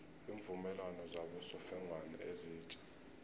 iimvumelwano zabosofengwana ezitja